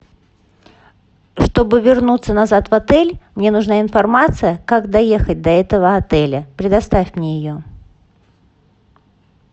чтобы вернуться назад в отель мне нужна информация как доехать до этого отеля предоставь мне ее